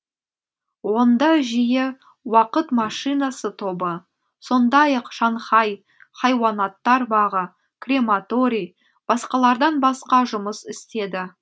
онда жиі уақыт машинасы тобы сондай ақ шанхай хайуанаттар бағы крематорий басқалардан басқа жұмыс істеді